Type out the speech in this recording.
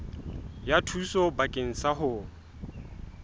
ya thuso bakeng sa ho